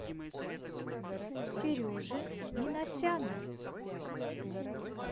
сережи минасяна